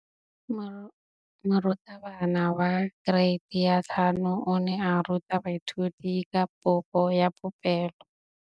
Moratabana wa kereiti ya 5 o ne a ruta baithuti ka popô ya polelô.